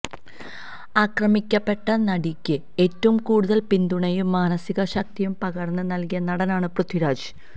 ആക്രമിയ്ക്കപ്പെട്ട നടിയ്ക്ക് ഏറ്റവും കൂടുതല് പിന്തുണയും മാനസിക ശക്തിയും പകര്ന്ന് നല്കിയ നടനാണ് പൃഥ്വിരാജ്